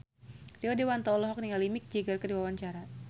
Rio Dewanto olohok ningali Mick Jagger keur diwawancara